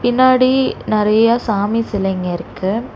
பின்னாடி நறைய சாமி சிலைங்க இருக்கு.